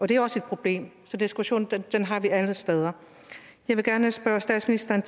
det er også et problem så diskussionen har vi alle steder jeg vil gerne spørge statsministeren